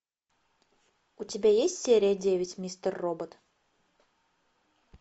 у тебя есть серия девять мистер робот